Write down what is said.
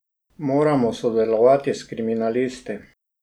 Mormo sodelovat s kriminalisti.